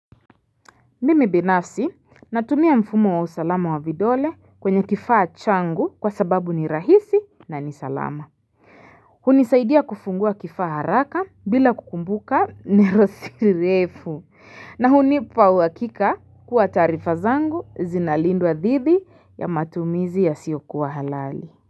Mimi binafsi natumia mfumo wa usalama wa vidole kwenye kifaa changu kwa sababu ni rahisi na ni salama. Hunisaidia kufungua kifaa haraka bila kukumbuka neno si refu. Na hunipa uhakika kuwa taarifa zangu zinalindwa dhidi ya matumizi yasiokuwa halali.